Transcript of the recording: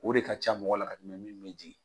O de ka ca mɔgɔ la ka tɛmɛ min bɛ jigin.